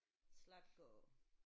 Zlatko